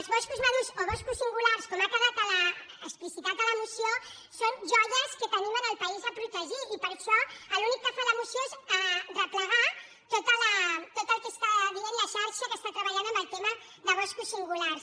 els boscos madurs o boscos singulars com ha quedat ex·plicitat a la moció són joies que tenim en el país a protegir i per això l’únic que fa la moció és arreplegar tot el que està dient la xarxa que està treballant en el tema de boscos singulars